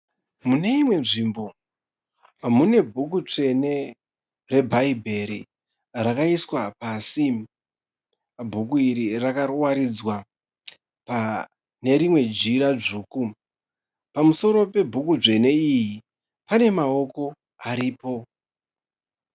Muneimwe nzvimbo mune bhuku tsvene rebhaibheri rakaiswa pasi. Bhuku iri rakawaridzwa panerimwe jira dzvuku. Pamusoro pebhuku dzvene iyi, panemawoko aripo.